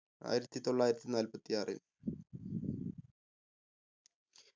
ആയിരത്തി തൊള്ളായിരത്തി നാല്പത്തി ആറിൽ